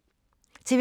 TV 2